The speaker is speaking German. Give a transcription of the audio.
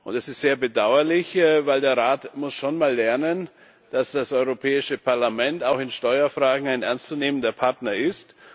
Es ist sehr bedauerlich, weil der Rat schon einmal lernen muss, dass das Europäische Parlament auch in Steuerfragen ein ernstzunehmender Partner ist.